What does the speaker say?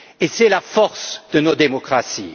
C'est la force de nos démocraties.